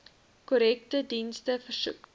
korrektiewe dienste versoek